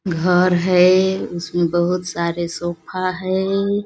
घर है उसमें बहुत सारे सोफा है।